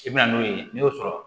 I bɛ na n'o ye n'i y'o sɔrɔ